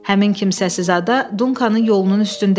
Həmin kimsəsiz ada Dunkanın yolunun üstündə idi.